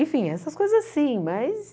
Enfim, essas coisas assim, mas...